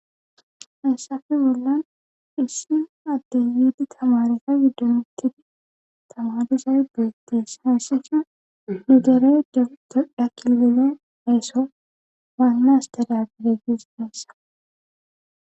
Heessafe bollan issin adde yiidi tamarefa widdomittidi tamadizae beettees haassisha hidere jedodha kilile dheeso waannas dadagidegizi deessa